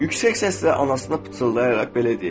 Yüksək səslə anasına pıçıldayaraq belə deyib: